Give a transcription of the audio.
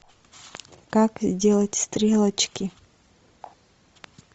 как сделать стрелочки